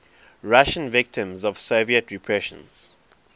russian victims of soviet repressions